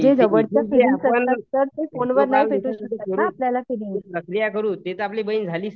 ते तर आपली बहीण झालीच नं